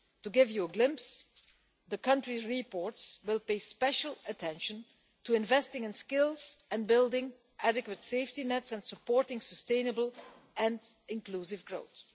To give you a glimpse the Country Reports will pay special attention to investing in skills and building adequate safety nets and supporting sustainable and inclusive growth.